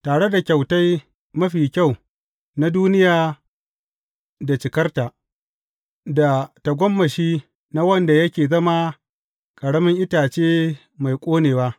Tare da kyautai mafi kyau na duniya da cikarta, da tagomashi na wanda yake zama a ƙaramin itace mai ƙonewa.